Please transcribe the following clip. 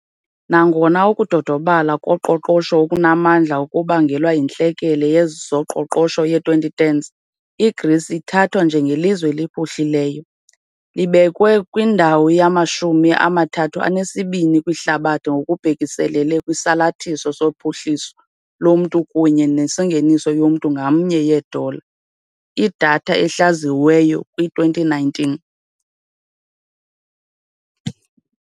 Nangona ukudodobala koqoqosho okunamandla okubangelwa yintlekele yezoqoqosho ye- 2010s, iGrisi ithathwa njengelizwe eliphuhlileyo, libekwe kwindawo yamashumi amathathu anesibini kwihlabathi ngokubhekiselele kwisalathiso sophuhliso lomntu kunye nengeniso yomntu ngamnye ye- yeedola, idatha ehlaziyiweyo kwi-2019.